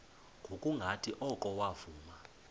ngokungathi oko wavuma